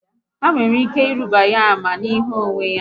Ha nwere ike ịruba ya ama n'ihi uwe ya